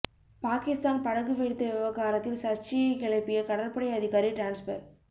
பாகிஸ்தான் படகு வெடித்த விவகாரத்தில் சர்ச்சையை கிளப்பிய கடற்படை அதிகாரி டிரான்ஸ்பர்